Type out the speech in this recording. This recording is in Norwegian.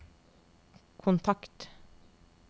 kontakt